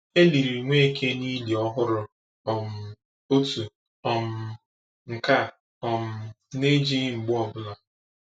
E liri Nweke n’ili ọhụrụ, um otu um nke a um na-ejighi mgbe ọ bụla.